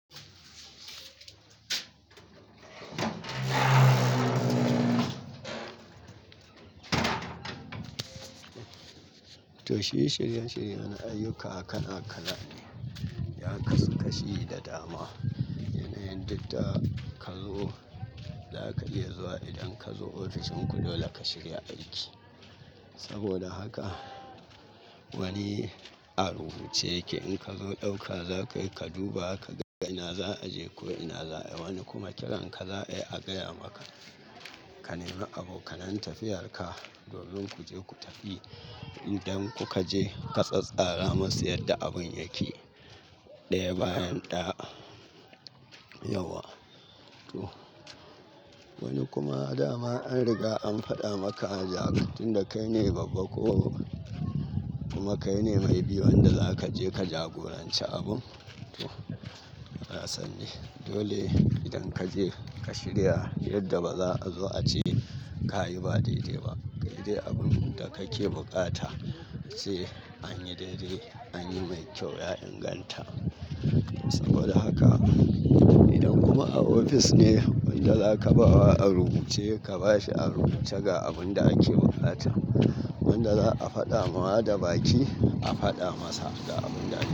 Toh shi shiri-shiri na ayyuka kala-kala ne. Ya kasu kashi da dama. Yana yin didda kallo zaka iya zuwa idan kazo ofishin ku dole ka shirya aiki. Saboda haka wani a rubuce yake. In kazo dauka zakai ka duba, ka ga ina za a je ko ina za a wani kuma kiran ka za a iya a gaya maka. Ka nema abokan tafiyar ka, domin ku je ku tafi. Idan ku ka je, ka tsattsara masu yadda abun yake, ɗaya bayan ɗaya. Wani kuma dama an riga an faɗa maka a jaguntan da kai ne babba ko kuma kai ne may be wanda za ka je ka jagoranci abun. Na sani. Dole idan kaje ka shirya yadda ba za a zo a ce ka yi ba dai-dai ba. Kai dai abun dake buƙata ce anyi dai-dai, anyi mai kyau, ya inganta. Saboda haka idan kuma a ofis ne wanda zaka bawa a rubuce, ka bashi a rubuce ga abun da ake buƙata. Wanda za a faɗa ma da baki, a faɗa masa da abun da.